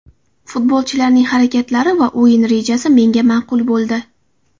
Futbolchilarning harakatlari va o‘yin rejasi menga ma’qul bo‘ldi.